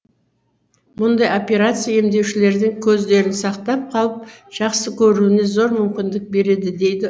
мұндай операция емделушілердің көздерін сақтап қалып жақсы көруіне зор мүмкіндік береді дейді